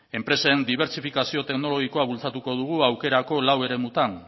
enpresen dibertsifikazio teknologikoa bultzatuko dugu aukerako lau eremuetan